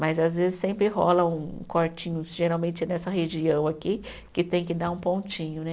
Mas às vezes sempre rola um cortinho, geralmente nessa região aqui, que tem que dar um pontinho, né?